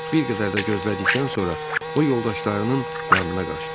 Bir qədər də gözlədikdən sonra o yoldaşlarının yanına qaçdı.